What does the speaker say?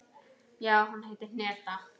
Já, hún heitir Hneta.